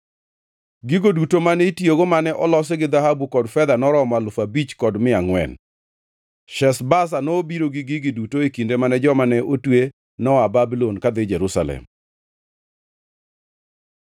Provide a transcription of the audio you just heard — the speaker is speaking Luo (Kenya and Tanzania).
Gigo duto mane itiyogo mane olosi gi dhahabu kod fedha noromo alufu abich kod mia angʼwen. Sheshbaza nobiro gi gigi duto e kinde mane joma ne otwe noa Babulon kadhi Jerusalem.